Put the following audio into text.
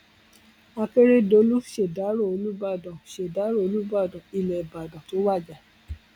akérèdolu ṣèdárò olùbàdàn ṣèdárò olùbàdàn ilẹ ìbàdàn tó wájà